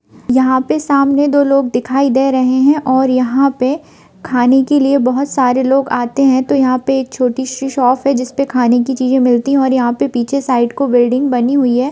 यहाँ पे सामने दो लोग दिखाई दे रहे हैं और यहाँ पे खाने के लिए बहुत सारे लोग आते हैं तो यहाँ पे एक छोटी सी शॉप है जिसपे खाने की चीज मिलती है और यहाँ पे पीछे साइड को बिल्डिंग बनी हुई है।